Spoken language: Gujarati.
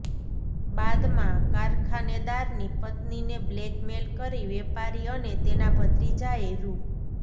બાદમાં કારખાનેદારની પત્નીને બ્લેકમેઇલ કરી વેપારી અને તેના ભત્રીજાએ રૂ